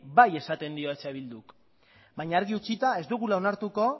bai esaten eh bildu k baina argi utzita ez dugula onartuko